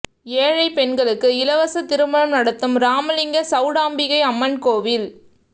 ஏழை பெண்களுக்கு இலவச திருமணம் நடத்தும் ராமலிங்க சவுடாம்பிகை அம்மன் கோவில்